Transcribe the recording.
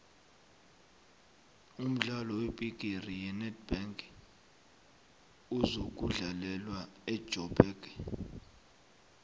umdlalo webhigiri yenedbank uzokudlalelwa ejoburg